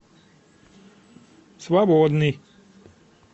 свободный